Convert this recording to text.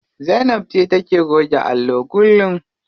Zainab ce take goge allo kullum.